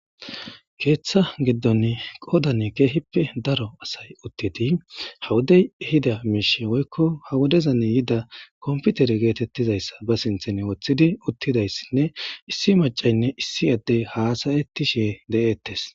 Keeththa giddon qoodane keehippe daro asay uttidi hawodey hida miishe woykko hawodezan yida komputer geetettizayssa ba sinthen woththidi uttidayssinne issi macaynne issi addey haasayettishe de7ettes.